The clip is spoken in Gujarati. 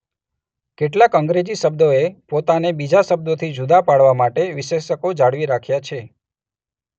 કેટલાક અંગ્રેજી શબ્દોએ પોતાને બીજા શબ્દોથી જુદા પાડવા માટે વિશેષકો જાળવી રાખ્યા છે.